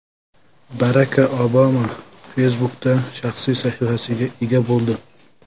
Barak Obama Facebook’da shaxsiy sahifasiga ega bo‘ldi .